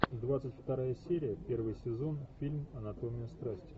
двадцать вторая серия первый сезон фильм анатомия страсти